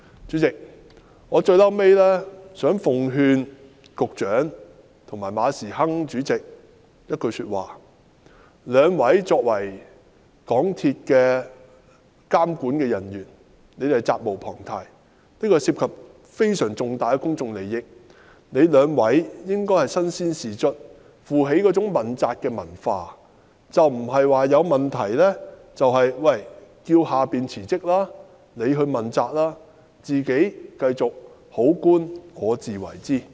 最後，代理主席，我想向局長及馬時亨主席奉勸一句話：兩位作為港鐵公司的監管人員，責無旁貸，這方面涉及非常重大的公眾利益，兩位應身先士卒，接受問責，而不是在出現問題時要求下屬問責辭職，自己則繼續"好官我自為之"。